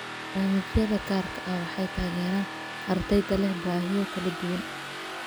Barnaamijyada gaarka ah waxay taageeraan ardayda leh baahiyo kala duwan.